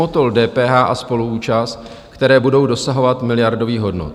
Motol DPH a spoluúčast, které budou dosahovat miliardových hodnot?